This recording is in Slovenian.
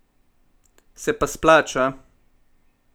Se pa splača!